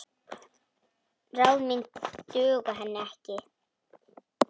Ráð mín duga henni ekki.